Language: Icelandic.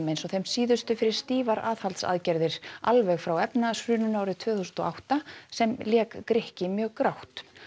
eins og þeim síðustu fyrir stífar aðhaldsaðgerðir alveg frá efnahagshruninu tvö þúsund og átta sem lék Grikki mjög grátt